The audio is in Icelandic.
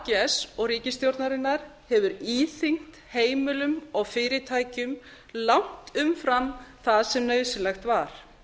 ags og ríkisstjórnarinnar hefur íþyngt heimilum og fyrirtækjum langt umfram það sem nauðsynlegt var